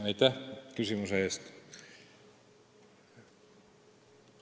Aitäh küsimuse eest!